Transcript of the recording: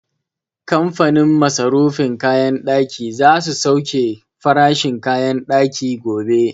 Kamfanin masarufin kayan ɗaki za su sauke farashin kayan ɗaki gobe